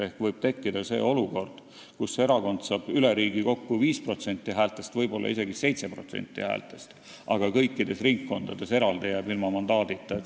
Ehk võib tekkida olukord, kus erakond saab üle riigi kokku 5%, võib-olla isegi 7% häältest, aga kõikides ringkondades eraldi jääb ilma mandaadita.